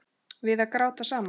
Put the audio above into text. Við að gráta saman.